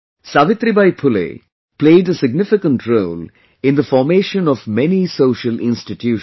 Savitribai Phule played a significant role in the formation of many social institutions